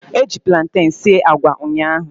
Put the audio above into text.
Eji platen sie agwa ụnyaahụ